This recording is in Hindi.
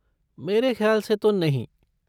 मेरे ख़्याल से तो नहीं।